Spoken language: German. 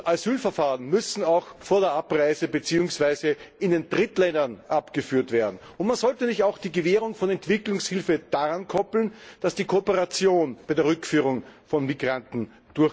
Asylverfahren müssen auch vor der Abreise, beziehungsweise in den Drittländern, abgewickelt werden. Man sollte auch nicht die Gewährung von Entwicklungshilfe daran koppeln, dass eine Kooperation bei der Rückführung von Migranten erfolgt.